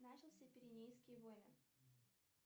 начался пиренейские войны